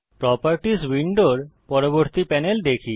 properties উইন্ডোর পরবর্তী panel দেখি